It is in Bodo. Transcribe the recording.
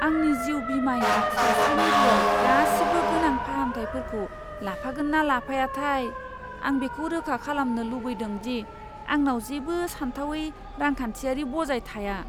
आंनि जिउ बीमाया सावस्रि मिरुआव गासिबो गोनां फाहामथायफोरखौ लाफागोन ना लाफायाथाय! आं बेखौ रोखा खालामनो लुबैदों दि आंनाव जेबो सानथावै रांखान्थियारि बजाय थाया।